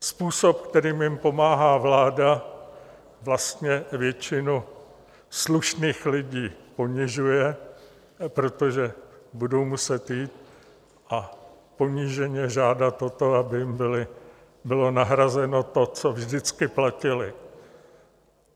Způsob, kterým jim pomáhá vláda, vlastně většinu slušných lidí ponižuje, protože budou muset jít a poníženě žádat o to, aby jim bylo nahrazeno to, co vždycky platili.